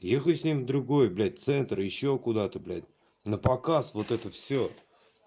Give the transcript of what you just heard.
ехай с ним в другой блять центр ещё куда-то блять напоказ вот это всё